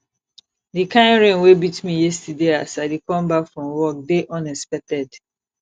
the kin rain wey beat me yesterday as i dey come back from work dey unexpected